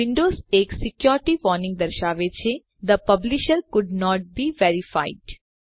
Windows એક security warning દર્શાવે છે the publisher could not be verified